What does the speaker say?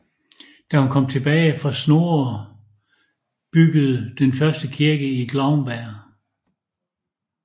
Da hun kom tilbage havde Snorre bygget den første kirke i Glaumbær